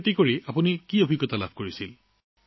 জৈৱিক কৃষিৰ অভিজ্ঞতা কেনেকুৱা